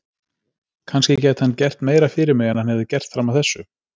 Kannski gæti hann gert meira fyrir mig en hann hefði gert fram að þessu.